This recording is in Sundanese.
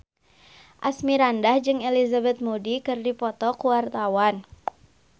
Asmirandah jeung Elizabeth Moody keur dipoto ku wartawan